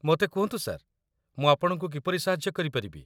ମୋତେ କୁହନ୍ତୁ ସାର୍, ମୁଁ ଆପଣଙ୍କୁ କିପରି ସାହାଯ୍ୟ କରିପାରିବି?